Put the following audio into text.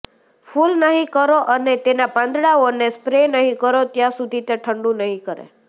ફૂલ નહી કરો અને તેના પાંદડાઓને સ્પ્રે નહીં કરો ત્યાં સુધી તે ઠંડું નહીં કરે